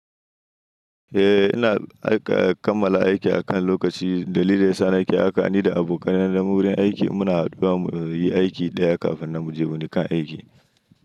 Eh ina aika kammala aiki akan lokaci. Dalili sani haka ni da abokanai na wurin aiki muna haduwa mu yi aiki ɗaya kafin na muje wani kan aiki.